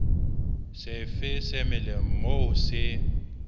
sefe se melang moo se